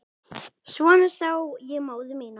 Svona sá ég móður mína.